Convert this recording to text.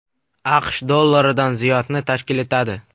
AQSh dollaridan ziyodni tashkil etadi.